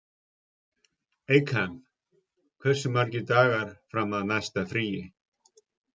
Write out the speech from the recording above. Eykam, hversu margir dagar fram að næsta fríi?